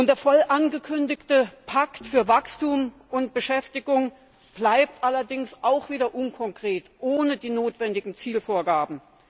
Der voll angekündigte Pakt für Wachstum und Beschäftigung bleibt allerdings auch wieder unkonkret, ohne die notwendigen Zielvorgaben.